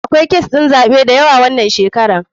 Akwai kes ɗin zaɓe dayawa wanan shekaran.